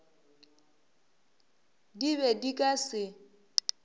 di be di ka se